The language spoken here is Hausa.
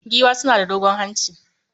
Giwa suna da dogon hanci